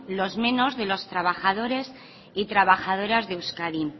los menos de los trabajadores y trabajadoras de euskadi